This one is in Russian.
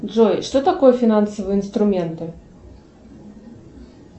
джой что такое финансовые инструменты